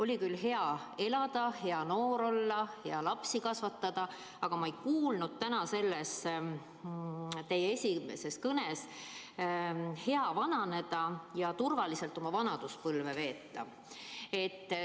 Oli küll juttu sellest, et peaks olema hea elada, hea noor olla, hea lapsi kasvatada, aga ma ei kuulnud täna teie esimeses kõnes midagi selle kohta, et peaks olema hea vananeda ja turvaliselt oma vanaduspõlve veeta.